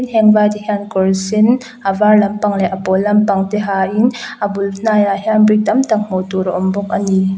heng vai te hian kawr sen a var lampang leh a pawl lampang te hain llla bul hnaiah hian brick tam tak hmuh tur a awm bawk a ni.